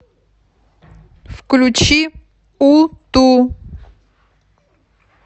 включи у ту